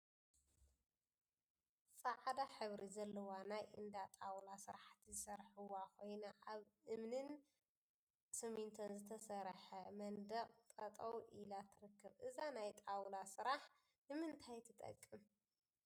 ፃዕዳ ሕብሪ ዘለዋ ናይ እንዳ ጣውላ ስራሕቲ ዝሰርሕዋ ኮይና፤ አብ ብእምኒን ስሚንቶን ዝተሰርሐ መንድቅ ጠጠው ኢላ ትርከብ፡፡ እዛ ናይ ጣውላ ስራሕን ንምንታይ ትጠቅም?